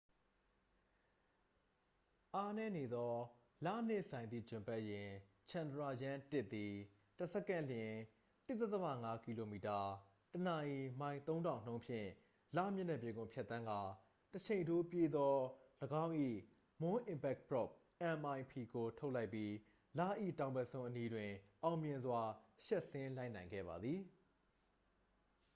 အားနည်းနေသော လနှင့်ဆိုင်သည့် ဂြိုလ်ပတ်ယာဉ် chandrayaan-၁ သည် တစ်စက္ကန့်လျှင် ၁.၅ ကီလိုမီတာ တစ်နာရီ မိုင် ၃၀၀၀ နှုန်း ဖြင့် လမျက်နှာပြင်ကို ဖြတ်သန်းကာ တရှိန်ထိုးပြေးသော ၎င်း၏ moon impact probe mip ကိုထုတ်လိုက်ပြီး လ၏ တောင်ဘက်စွန်း အနီးတွင် အောင်မြင်စွာ ရှပ်ဆင်းလိုက်နိုင်ခဲ့ပါသည်။